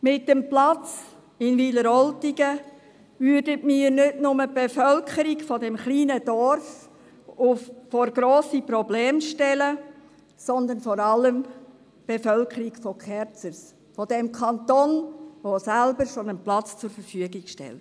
Mit dem Platz in Wileroltigen würden wir nicht nur die Bevölkerung dieses kleinen Dorfes vor grosse Probleme stellen, sondern vor allem die Bevölkerung von Kerzers, von jenem Kanton, der schon einen Platz zur Verfügung stellt.